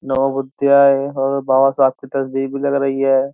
और बाबा साहब की तस्वीर भी लग रही है।